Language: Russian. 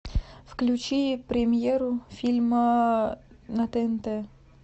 включи премьеру фильма на тнт